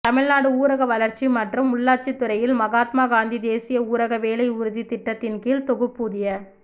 தமிழ்நாடு ஊரக வளா்ச்சி மற்றும் உள்ளாட்சித் துறையில் மகாத்மா காந்தி தேசிய ஊரக வேலை உறுதித்திட்டத்தின்கீழ் தொகுப்பூதிய